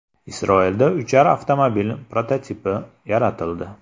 Isroilda uchar avtomobil prototipi yaratildi.